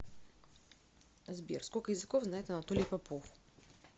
сбер сколько языков знает анатолий попов